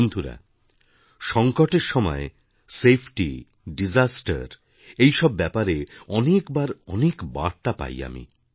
বন্ধুরা সঙ্কটের সময়সেফটি দিশাস্তের এই সব ব্যাপারে অনেকবারঅনেক বার্তা পাই আমি